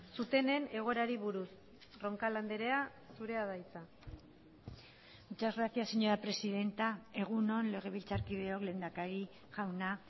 zutenen egoerari buruz roncal andrea zurea da hitza muchas gracias señora presidenta egun on legebiltzarkideok lehendakari jauna